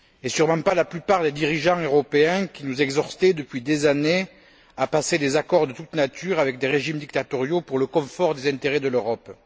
Sûrement pas la plupart des dirigeants européens qui nous exhortaient, depuis des années, à passer des accords de toutes natures avec des régimes dictatoriaux pour le confort des intérêts de l'Europe.